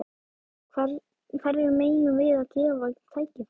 Hverjum eigum við að gefa tækifæri?